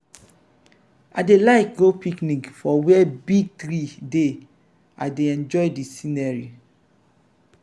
i dey like go picnic for where big trees dey i dey enjoy de scenery.